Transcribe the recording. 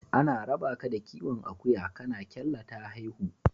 Ana rabaka da kiwon akuya kana kyalla ta haihu.